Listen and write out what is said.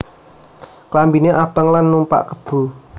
Klambiné abang lan numpak kebo